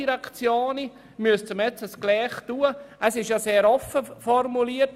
Der Vorstoss ist schliesslich sehr offen formuliert.